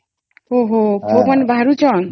ଓ ହୋ ପୋକ ବାହାରୁଛନ